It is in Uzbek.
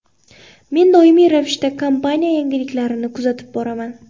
Men doimiy ravishda kompaniya yangiliklarini kuzatib boraman.